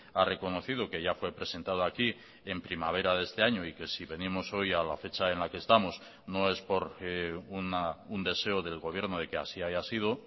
ha reconocido que ya fue presentado aquí en primavera de este año y que si venimos hoy a la fecha en la que estamos no es por un deseo del gobierno de que así haya sido